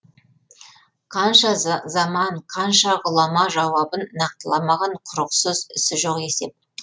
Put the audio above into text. қанша заман қанша ғұлама жауабын нақтыламаған құрықсыз ізі жоқ есеп